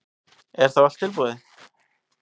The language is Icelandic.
Er þá allt búið?